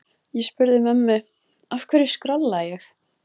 Ég spurði mömmu: Af hverju skrolla ég?